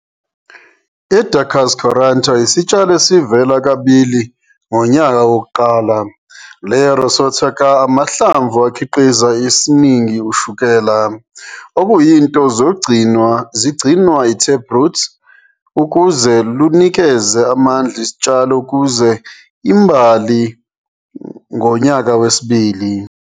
"I-Daucus carota" isitshalo esivela kabili. Ngonyaka wokuqala, layo rosette ka amahlamvu ukhiqiza esiningi ushukela, okuyinto zigcinwa Taproot ukuze lunikeze amandla isitshalo ukuze imbali ngonyaka wesibili.